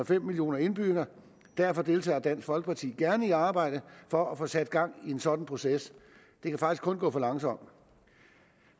fem millioner indbyggere derfor deltager dansk folkeparti gerne i arbejdet for at få sat gang i en sådan proces det kan faktisk kun gå for langsomt